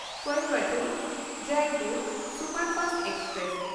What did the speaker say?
Coimbatore Jaipur superfast express